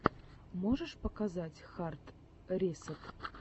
можешь показать хард ресэт